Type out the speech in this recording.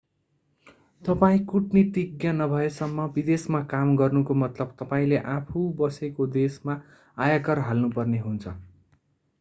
तपाईं कूटनीतिज्ञ नभएसम्म विदेशमा काम गर्नुको मतलब तपाईंले आफू बसेको देशमा आयकर हाल्नु पर्ने हुन्छ